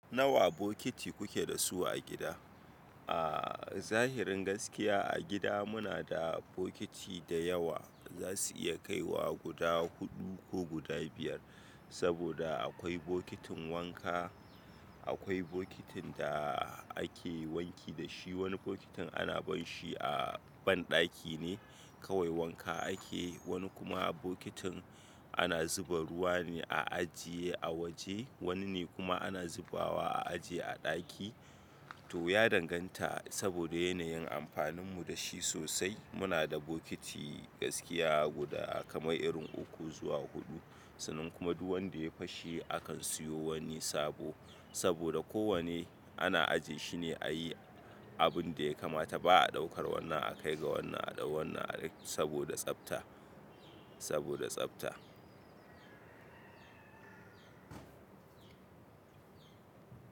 Nawa bokiti kuke da su a gida? A zahirin gaskiya a gida muna da bokiti da yawa. Zasu iya kaiwa guda huɗu ko guda biyar. Saboda akwai bokitin wanka, akwai bokitin da ake wanki da shi. Wani bokitin ana bar shi a banɗaki ne kawai wanka ake. Wani kuma bokitin ana zuba ruwa ne a ajiye a waje. Wani ne kuma ana zubawa a ajiye a ɗaki. To ya danganta saboda yanayin amfanin mu da shi sosai. Muna da bokiti gaskiya guda kamar irin uku zuwa huɗu. Sannan kuma duk wanda ya fashe akan siyo wani sabo. Saboda ko wane ana ajiye shine a yi abun da ya kamata. Ba a ɗaukar wannan a kai ga wannan a ɗau wannan a saboda tsafta, saboda tsafta.